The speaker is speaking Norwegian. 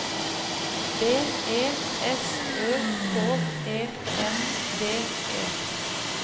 B E S Ø K E N D E